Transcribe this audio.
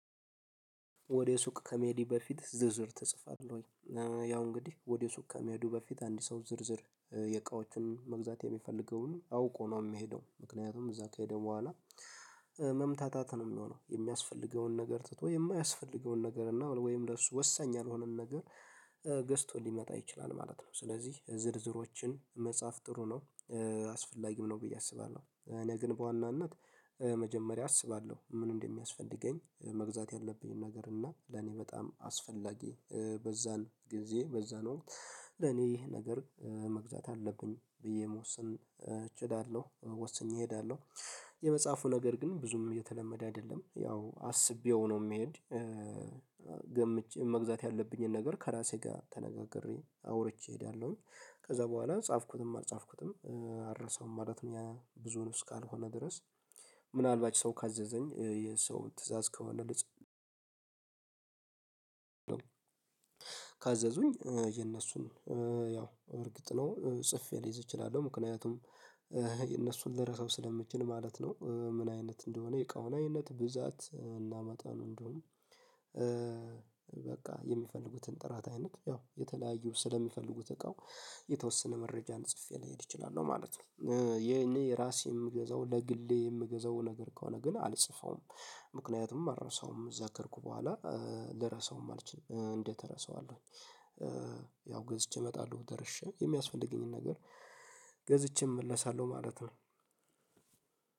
ወደ ሱቅ ከመሄድ በፊት ዝርዝር ተጽፏል ወይ? ያው እንግዲህ ወደ ሱቅ ከመሄዱ በፊት አንድ ሰው ዝርዝር የእቃዎችን መግዛት የሚፈልገውን አውቆ ነው የሚሄደው ምክንያቱም እዛ ከሄደ በኋላ መምታታት ነው የሚሆነው የሚያስፈልገውን ነገር ትቶ የማያስፈልገውን ነገር እና ወይም ለሱ ወሳኝ ያልሆነን ነገር ገዝቶ ሊመጣ ይችላል ማለት ነው። ስለዚህ ዝርዝሮችን መጽሐፍ ጥሩ ነው አስፈላጊም ነው ብዬ አስባለሁ። እኔ ግን በዋናነት መጀመሪያ አስባለሁ ምን እንደሚያስፈልገኝ መግዛት ያለብኝን ነገር እና ለኔ በጣም አስፈላጊ በዛን ጊዜ በዛን ወቅት ለኔ ይህ ነገር መግዛት አለብኝ ብዬ የመወሰን እችላለሁ ወስኜ እሄዳለሁ። የመጽሐፉ ነገር ግን ብዙም የተለመደ አይደለም ያው አስቤው ነው የሚሄድ ገምቼ መግዛት ያለብኝን ነገር ከራሴ ጋር ተነጋግሬ አውርቼ እሄዳለሁኝ። ከዛ በኋላ ጻፍኩትም አልጻፍኩትም አልረሳውም ማለት እኛ ብዙም ካልሆነ ድረስ። ምናልባት ሰው ካዘዘኝ የሰው ትእዛዝ ከሆነ ልጽፍ። ካዘዙኝ የነሱን ያው እርግጥ ነው ጽፌ ልይዝ እችላለሁ ምክንያቱም የነሱን ልረሰው ስለምችል ማለት ነው። ምን አይነት እንደሆነ የቃው አይነት ብዛት እና መጠን እንዲሁም በቃ የሚፈልጉትን ጥራት አይነት ያው የተለያዩ ስለሚፈልጉት እቃው የተወሰነ መረጃን ጽፌ ሊሄድ እችላለሁ ማለት ነው። ይሄኔ የራሴ የምገዛው ለግሌ የምገዛው ነገር ከሆነ ግን አልጽፈውም። ምክንያቱም አልረሳውም እዛ ከሄድኩ በኋላ ልረሳውም አልችልም እንዴት እረሳዋለሁኝ? ያው ገዝቼ እመጣለሁ ደርሼ የሚያስፈልገኝን ነገር ገዝቼም እመለሳለሁ ማለት ነው።